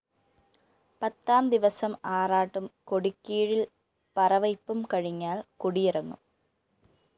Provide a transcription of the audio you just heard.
പത്താംദിവസം ആറാട്ടും കൊടിക്കീഴില്‍ പറ വയ്പും കഴിഞ്ഞാല്‍ കൊടിയിറങ്ങും